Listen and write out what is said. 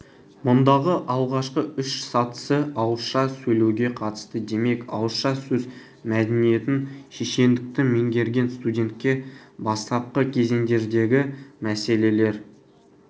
мұндағы алғашқы үш сатысы ауызша сөйлеуге қатысты демек ауызша сөз мәдениетін шешендікті меңгерген студентке бастапқы кезеңдердегімәселелер